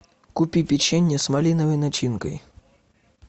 купи печенье с малиновой начинкой